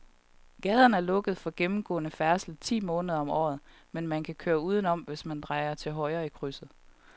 Gaden er lukket for gennemgående færdsel ti måneder om året, men man kan køre udenom, hvis man drejer til højre i krydset.